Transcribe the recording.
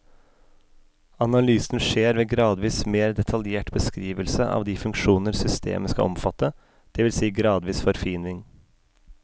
Analysen skjer ved gradvis mer detaljert beskrivelse av de funksjoner systemet skal omfatte, det vil si gradvis forfining.